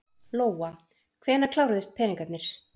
Lóa: Hvenær kláruðust peningarnir?